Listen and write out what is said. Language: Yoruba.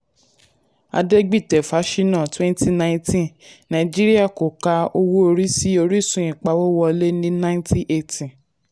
adegbite fasina ( twenty nineteen nàìjíríà kò ka owó orí sí orísun ìpawówọlé ní nineteen eighty.